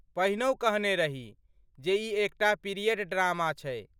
पहिनहु कहने रही जे ई एकटा पीरियड ड्रामा छै।